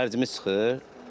Xərcimiz çıxır.